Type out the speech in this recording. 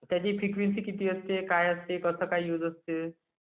त्याची फ्रिक्वेन्सी किती असते...काय असते कसं काय यूज असते...